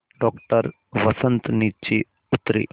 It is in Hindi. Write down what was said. डॉक्टर वसंत नीचे उतरे